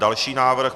Další návrh.